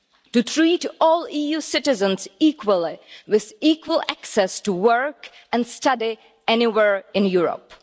to treat all EU citizens equally, with equal access to work and study anywhere in Europe.